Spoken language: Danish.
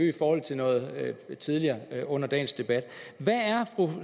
i forhold til noget tidligere under dagens debat hvad er fru